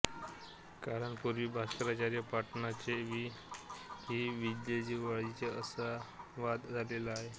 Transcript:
कारण पूर्वी भास्कराचार्य पाटणचे की विज्जलवीडचे असा वाद झालेला आहे